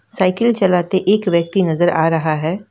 Cycle चलाते एक व्यक्ति नजर आ रहा है।